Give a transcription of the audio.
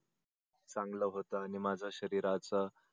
चांगल होत आणि माझ्या शरीराचा